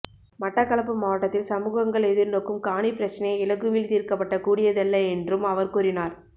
மட்டக்களப்பு மாவட்டத்தில் சமூகங்கள் எதிர்நோக்கும் காணிப்பிரச்சினை இலகுவில் தீர்க்கப்பட கூடியதல்ல என்றும் அவர் கூறினார்